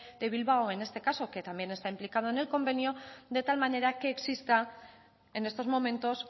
de bilbao en este caso que también está implicado en el convenio de tal manera que exista en estos momentos